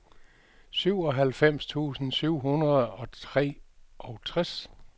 syvoghalvfems tusind syv hundrede og treogtres